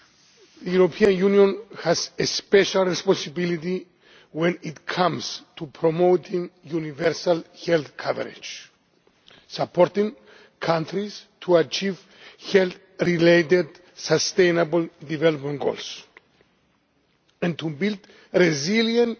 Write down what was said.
The European Union has a special responsibility when it comes to promoting universal health coverage, supporting countries to achieve health related sustainable development goals and to build resilient